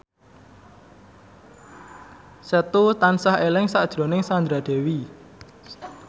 Setu tansah eling sakjroning Sandra Dewi